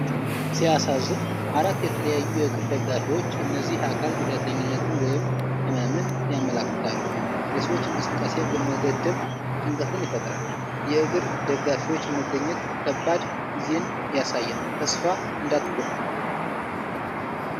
ሲያሳዝን! አራት የተለያዩ የእግር ደጋፊዎች! እነዚህ አካል ጉዳተኝነትን ወይም ህመምን ያመለክታሉ። የሰዎች እንቅስቃሴ መገደብ ጭንቀትን ይፈጥራል። የእግር ደጋፊዎች መገኘት ከባድ ጊዜን ያሳያል። ተስፋ እንዳይቆርጡ!